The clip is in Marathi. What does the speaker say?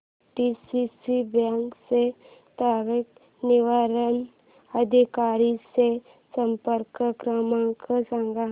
पीडीसीसी बँक च्या तक्रार निवारण अधिकारी चा संपर्क क्रमांक सांग